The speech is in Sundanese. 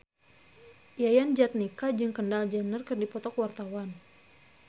Yayan Jatnika jeung Kendall Jenner keur dipoto ku wartawan